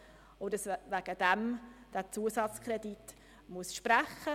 Deswegen muss man diesen Zusatzkredit sprechen.